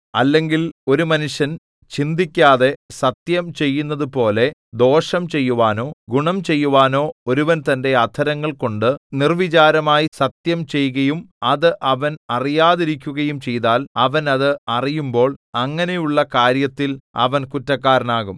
അല്ലെങ്കിൽ ഒരു മനുഷ്യൻ ചിന്തിക്കാതെ സത്യം ചെയ്യുന്നതുപോലെ ദോഷം ചെയ്യുവാനോ ഗുണം ചെയ്യുവാനോ ഒരുവൻ തന്റെ അധരങ്ങൾ കൊണ്ട് നിർവ്വിചാരമായി സത്യംചെയ്കയും അത് അവൻ അറിയാതിരിക്കുകയും ചെയ്താൽ അവൻ അത് അറിയുമ്പോൾ അങ്ങനെയുള്ള കാര്യത്തിൽ അവൻ കുറ്റക്കാരനാകും